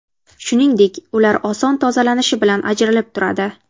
Shuningdek, ular oson tozalanishi bilan ajaralib turadi.